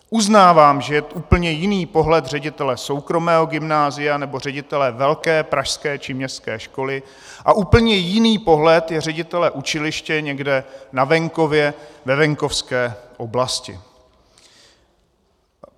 Uznávám, že je úplně jiný pohled ředitele soukromého gymnázia nebo ředitele velké pražské či městské školy a úplně jiný pohled je ředitele učiliště někde na venkově, ve venkovské oblasti.